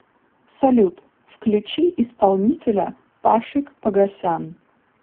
салют включи исполнителя пашик погосян